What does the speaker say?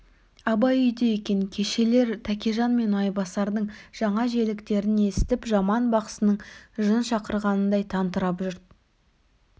абай үйде екен кешелер тәкежан мен майбасардың жаңа желіктерін есітіп жаман бақсының жын шақырғанындай тантырап жұрт